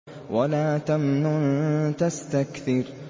وَلَا تَمْنُن تَسْتَكْثِرُ